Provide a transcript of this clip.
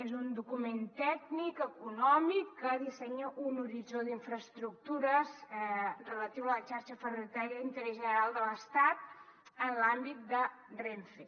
és un document tècnic econòmic que dissenya un horitzó d’infraestructures relatiu a la xarxa ferroviària d’interès general de l’estat en l’àmbit de renfe